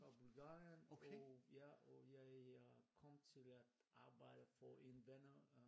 Og Bulgarien og ja og jeg kom til at arbejde en venner